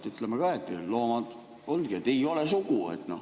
Ütleme, et loomad ongi nii, et ei ole sugu.